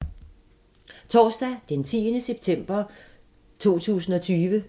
Torsdag d. 10. september 2020